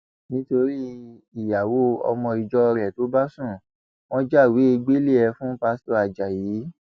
nítorí ìyàwó ọmọ ìjọ rẹ tó bá sún wọn jáwèé gbélé ẹ fún pásítọ ajáyí